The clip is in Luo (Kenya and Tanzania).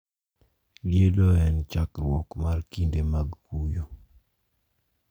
Liedo en e chakruok mar kinde mag kuyo.